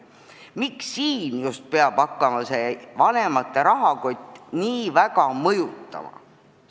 Miks just selles etapis peab vanemate rahakott nii väga laste saatust mõjutama?